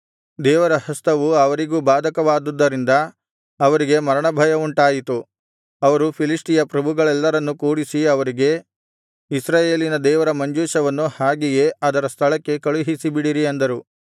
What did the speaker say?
ದೇವರ ಹಸ್ತವು ಅವರಿಗೂ ಬಾಧಕವಾಗಿದ್ದುದರಿಂದ ಅವರಿಗೆ ಮರಣಭಯವುಂಟಾಯಿತು ಅವರು ಫಿಲಿಷ್ಟಿಯ ಪ್ರಭುಗಳೆಲ್ಲರನ್ನೂ ಕೂಡಿಸಿ ಅವರಿಗೆ ಇಸ್ರಾಯೇಲಿನ ದೇವರ ಮಂಜೂಷವನ್ನು ಹಾಗೆಯೇ ಅದರ ಸ್ಥಳಕ್ಕೆ ಕಳುಹಿಸಿಬಿಡಿರಿ ಅಂದರು